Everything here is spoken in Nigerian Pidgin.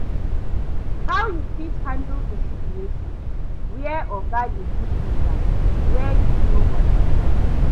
How you fit handle di situation where oga dey give you task wey you no understand?